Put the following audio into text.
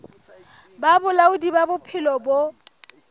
ba bolaodi ba bophelo bo